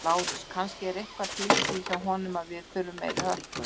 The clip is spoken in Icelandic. LÁRUS: Kannski er eitthvað til í því hjá honum að við þurfum meiri hörku.